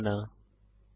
শুভেচ্ছা